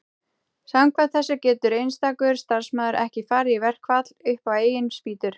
samkvæmt þessu getur einstakur starfsmaður ekki farið í verkfall upp á eigin spýtur